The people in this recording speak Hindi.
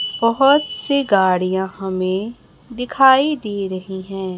बहोत से गाड़ियां हमें दिखाई दे रही हैं।